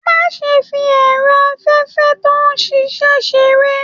Má ṣe fí ẹrọ afẹfẹ tó n ṣiṣẹ ṣeré!